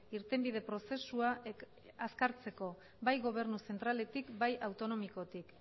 irtenbide prozesua azkartzeko bai gobernu zentraletik bai autonomikotik